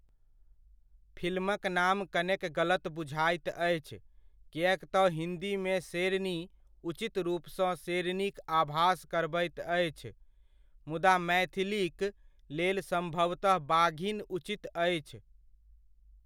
फिल्मक नाम कनेक गलत बुझाइत अछि, किएक तँ हिन्दीमे 'शेरनी' उचित रूपसँ 'शेरनी'क आभास करबैत अछि, मुदा मैथिलीक लेल सम्भवतह 'बाघिन' उचित अछि।